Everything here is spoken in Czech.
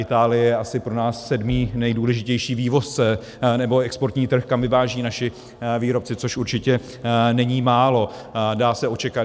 Itálie je asi pro nás sedmý nejdůležitější vývozce, nebo exportní trh, kam vyvážejí naši výrobci, což určitě není málo.